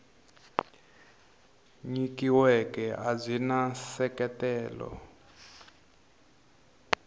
nyikiweke a byi na nseketelo